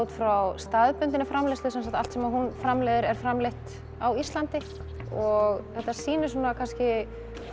frá staðbundinni framleiðslu allt sem hún framleiðir er framleitt á íslandi og þetta sýnir svona kannski